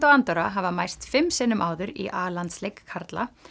og Andorra hafa mæst fimm sinnum áður í a landsleik karla